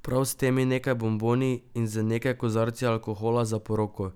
Prav s temi nekaj bomboni in z nekaj kozarci alkohola za poroko?